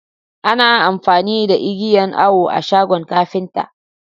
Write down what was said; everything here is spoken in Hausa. Ana amfani da igiyan Awo a shagon kapinta.